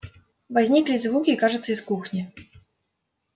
возникли и звуки кажется из кухни